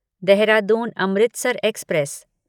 Dehradun Amritsar express